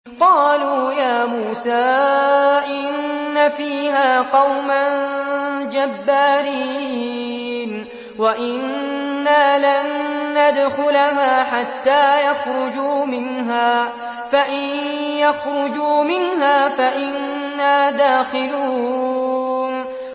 قَالُوا يَا مُوسَىٰ إِنَّ فِيهَا قَوْمًا جَبَّارِينَ وَإِنَّا لَن نَّدْخُلَهَا حَتَّىٰ يَخْرُجُوا مِنْهَا فَإِن يَخْرُجُوا مِنْهَا فَإِنَّا دَاخِلُونَ